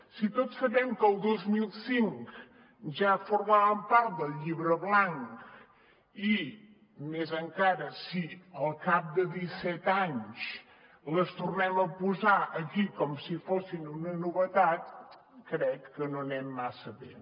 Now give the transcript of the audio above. si tots sabem que el dos mil cinc ja formaven part del llibre blanc i més encara si al cap de disset anys les tornem a posar aquí com si fossin una novetat crec que no anem massa bé